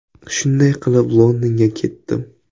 Shunday qilib, Londonga ketdim.